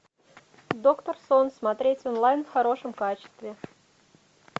доктор сон смотреть онлайн в хорошем качестве